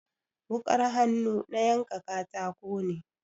Wukar hannu na yanka katako ne.